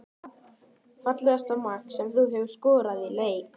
Fallegasta mark sem þú hefur skorað í leik?